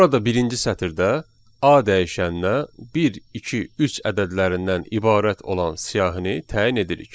Burada birinci sətirdə A dəyişəninə 1, 2, 3 ədədlərindən ibarət olan siyahını təyin edirik.